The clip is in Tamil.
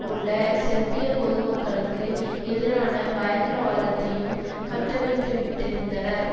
உள்ள செர்பிய பொதுமக்களுக்கு எதிரான பயங்கரவாதத்தையும் கட்டவிழ்த்துவிட்டிருந்தனர்